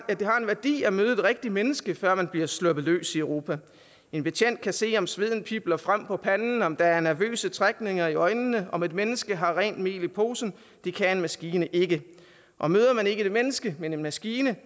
en værdi at møde et rigtigt menneske før man blive sluppet løs i europa en betjent kan se om sveden pibler frem på panden om der er nervøse trækninger i øjnene altså om et mennesker har rent mel i posen det kan en maskine ikke og møder man ikke et menneske men en maskine